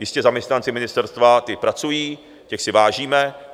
Jistě, zaměstnanci ministerstva, ti pracují, těch si vážíme.